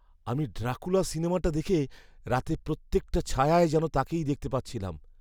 আমি 'ড্রাকুলা' সিনেমাটা দেখে রাতে প্রত্যেকটা ছায়ায় যেন তাকেই দেখতে পাচ্ছিলাম।